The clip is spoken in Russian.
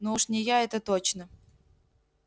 ну уж не я это точно